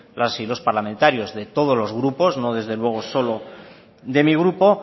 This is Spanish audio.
las y los parlamentarios de todos los grupos no desde luego solo de mi grupo